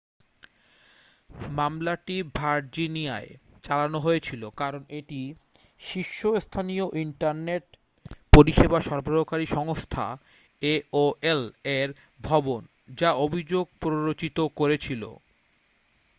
মামলাটি ভার্জিনিয়ায় চালানো হয়েছিল কারণ এটি শীর্ষস্থানীয় ইন্টারনেট পরিষেবা সরবরাহকারী সংস্থা aol এর ভবন যা অভিযোগ প্ররোচিত করেছিল